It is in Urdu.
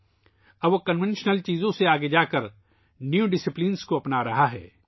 اب وہ روایتی چیزوں سے آگے بڑھ کر نئے ڈسپلن اپنا رہا ہے